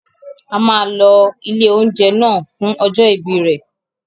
A máa lọ ilé-oúnjẹ náà fún ọjọ́ ìbí rẹ.